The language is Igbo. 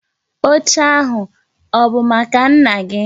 Oche ahu, ọ bụ maka nna gi?